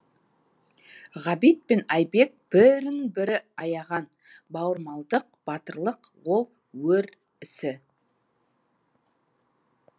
ғабит пен айбек бірін бірі аяған бауырмалдық батырлық ол өр ісі